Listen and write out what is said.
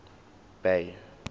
bay